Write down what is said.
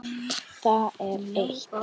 Það er eitt.